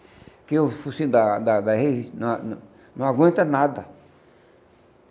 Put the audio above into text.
Porque o focinho da da na na não aguenta nada.